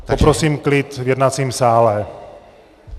Poprosím klid v jednacím sále.